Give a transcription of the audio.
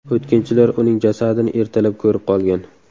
O‘tkinchilar uning jasadini ertalab ko‘rib qolgan .